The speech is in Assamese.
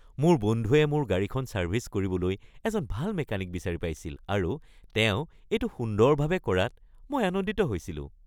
মোৰ বন্ধুৱে মোৰ গাড়ীখন ছাৰ্ভিছ কৰিবলৈ এজন ভাল মেকানিক বিচাৰি পাইছিল আৰু তেওঁ এইটো সুন্দৰভাৱে কৰাত মই আনন্দিত হৈছিলোঁ।